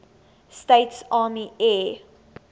states army air